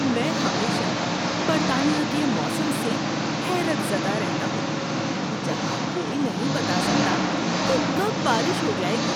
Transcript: میں ہمیشہ برطانیہ کے موسم سے حیرت زدہ رہتا ہوں جہاں کوئی نہیں بتا سکتا کہ کب بارش ہو جائے گی۔